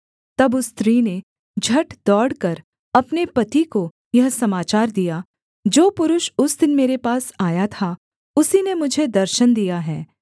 तब उस स्त्री ने झट दौड़कर अपने पति को यह समाचार दिया जो पुरुष उस दिन मेरे पास आया था उसी ने मुझे दर्शन दिया है